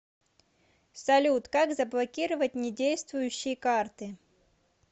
салют как заблокировать не действующие карты